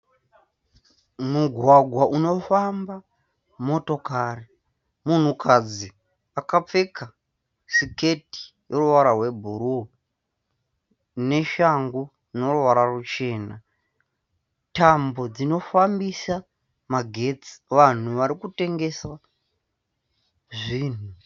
Mugwagwa unofamba motokari, munhukadzi akapfeka siketi ineruvara rwebhuruu neshangu dzine ruvara ruchena. Tambo dzinofambisa magetsi, vanhu varikutengesa zvinhu.